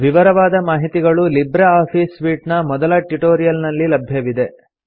ವಿವರವಾದ ಮಾಹಿತಿಗಳು Libre Office suite ನ ಮೊದಲ ಟ್ಯುಟೋರಿಯಲ್ ನಲ್ಲಿ ಲಭ್ಯವಿವೆ